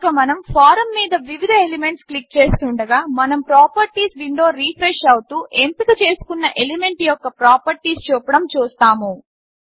కనుక మనం ఫారమ్ మీద వివిధ ఎలిమెంట్స్ క్లిక్ చేస్తుండగా మనము ప్రాపర్టీస్ విండో రిఫ్రెష్ అవుతు ఎంపిక చేసుకున్న ఎలిమెంట్ యొక్క ప్రాపర్టీస్ చూపడం చూస్తాము